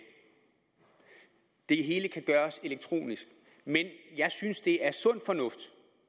det hele kan gøres elektronisk men jeg synes det er sund fornuft